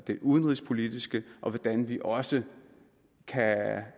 det udenrigspolitiske og hvordan vi også